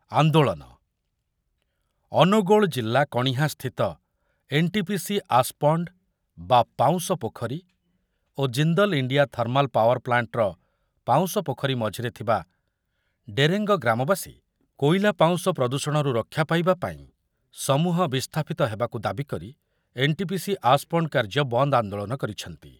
ଆନ୍ଦୋଳନ, ଅନୁଗୁଳ ଜିଲ୍ଲା କଣିହାଁସ୍ଥିତ ଏନ୍‌ଟିପିସି ଆସ୍‌ପଣ୍ଡ୍ ବା ପାଉଁଶ ପୋଖରୀ ଓ ଜିନ୍ଦଲ୍ ଇଣ୍ଡିଆ ଥର୍ମାଲ୍ ପାୱାର୍ ପ୍ଲାଣ୍ଟ୍‌ର ପାଉଁଶ ପୋଖରୀ ମଝିରେ ଥିବା ଡେରେଙ୍ଗ ଗ୍ରାମବାସୀ କୋଇଲା ପାଉଁଶ ପ୍ରଦୂଷଣରୁ ରକ୍ଷା ପାଇବା ପାଇଁ, ସମୂହ ବିସ୍ଥାପିତ ହେବାକୁ ଦାବି କରି ଏନ୍‌ଟିପିସି ଆସ୍‌ପଣ୍ଡ୍ କାର୍ଯ୍ୟ ବନ୍ଦ ଆନ୍ଦୋଳନ କରିଛନ୍ତି।